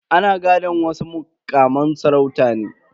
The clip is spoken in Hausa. Ana gadan wasu mukaman sarauta ne.